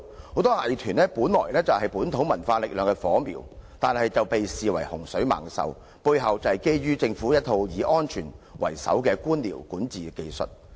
很多藝團本是本土文化力量的火苗，但卻被視為洪水猛獸，背後正是基於政府一套以安全為首的官僚管治技術。